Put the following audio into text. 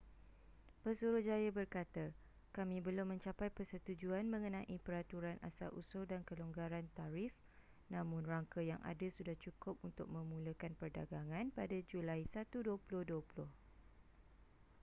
pesuruhjaya berkata kami belum mencapai persetujuan mengenai peraturan asal-usul dan kelonggaran tarif namun rangka yang ada sudah cukup untuk memulakan perdagangan pada julai 1 2020